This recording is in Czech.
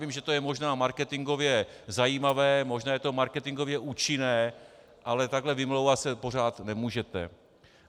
Vím, že to je možná marketingově zajímavé, možná je to marketingově účinné, ale takhle vymlouvat se pořád nemůžete.